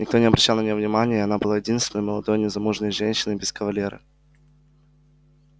никто не обращал на нее внимания и она была единственной молодой незамужней женщиной без кавалера